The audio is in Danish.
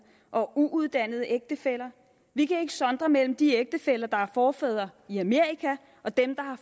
og uuddannede ægtefæller vi kan ikke sondre mellem de ægtefæller der har forfædre i amerika og dem der